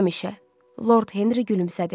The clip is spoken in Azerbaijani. Həmişə, Lord Henri gülümsədi.